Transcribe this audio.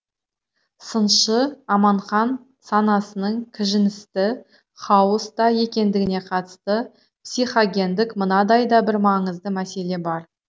сыншы аманхан санасының кіжіністі хаоста екендігіне қатысты психогендік мынадай да бір маңызды мәселе бар